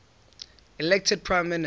elected prime minister